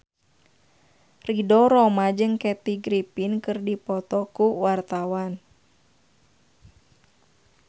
Ridho Roma jeung Kathy Griffin keur dipoto ku wartawan